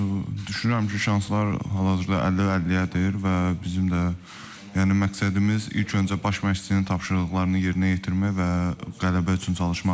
Düşünürəm ki, şanslar hal-hazırda 50-50-yədir və bizim də yəni məqsədimiz ilk öncə baş məşqçinin tapşırıqlarını yerinə yetirmək və qələbə üçün çalışmaqdır.